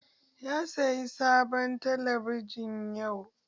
Ya sayi sabon talabijin yau.